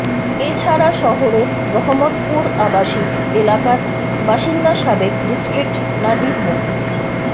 এ ছাড়া শহরের রহমতপুর আবাসিক এলাকার বাসিন্দা সাবেক ডিস্ট্রিক্ট নাজির মো